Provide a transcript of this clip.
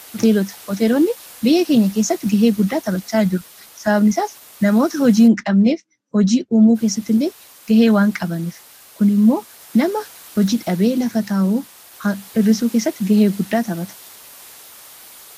hooteelota ,hooteelonni biyya keenya keessatti gahee guddaa taphachaa jiru. sababnisaas namoota hojii hin qabneef hojii uumuu keessatti illee gahee waan qabaniif kun immoo nama hojii dhabee lafa taa'uu hirrisuu keessatti gahee guddaa taphata.